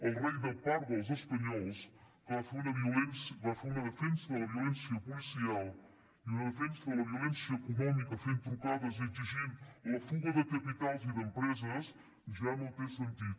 el rei de part dels espanyols que va fer una defensa de la violència policial i una defensa de la violència econòmica fent trucades i exigint la fuga de capitals i d’empreses ja no té sentit